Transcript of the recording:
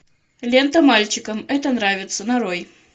лента мальчикам это нравится нарой